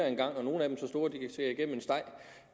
en gang nogle